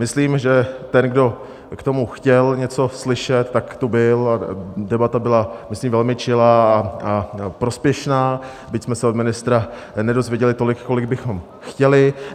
Myslím, že ten, kdo k tomu chtěl něco slyšet, tak tu byl, debata byla, myslím, velmi čilá a prospěšná, byť jsme se od ministra nedozvěděli tolik, kolik bychom chtěli.